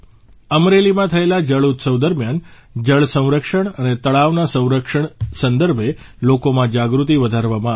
અમરેલીમાં થયેલા જળ ઉત્સવ દરમ્યાન જળસંરક્ષણ અને તળાવના સંરક્ષણ સંદર્ભે લોકોમાં જાગૃતિ વધારવામાં આવી